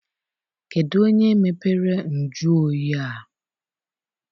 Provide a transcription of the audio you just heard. Kedụ onye mepere nju oyi a?